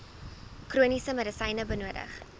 chroniese medisyne benodig